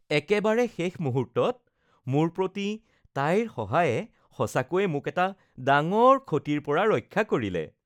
একেবাৰে শেষ মুহূৰ্তত মোৰ প্ৰতি তাইৰ সহায়ে সঁচাকৈয়ে মোক এটা ডাঙৰ ক্ষতিৰ পৰা ৰক্ষা কৰিলে